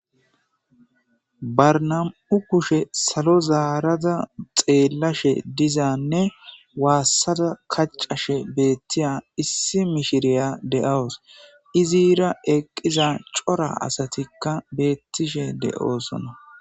barnam'u kushe salo zaarada xeellashe dizanne waassada kaccashe beettiya issi mishiriya de'awus izira eqqiza cora asatikka beettishe de'osona